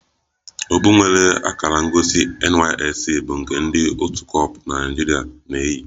Okpu nwere akara ngosi NYSC bụ nke ndị otu kor na Naijirịa na-eyi